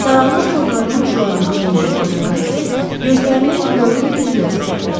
Saralmış bığlarının uclarını çeynəyən qoca Kastel gözlərini Reonun üzünə zillədi.